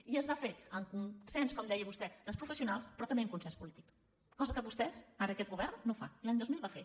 i es va fer amb consens com deia vostè dels professionals però també amb consens polític cosa que vostès ara aquest govern no fan i l’any dos mil va fer